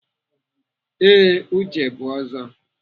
Ee, Uche bụ Ọzọ.